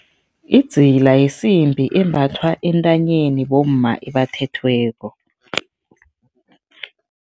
Idzila yisimbi embathwa entanyeni, bomma ebathethweko.